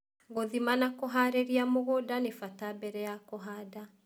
Gũthima na kũharĩria mũgũnda nĩ bata mbere ya kũhanda.